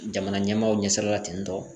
Jamana ɲɛmaaw ɲɛ sira la ten tɔ